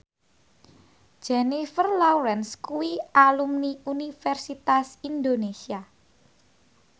Jennifer Lawrence kuwi alumni Universitas Indonesia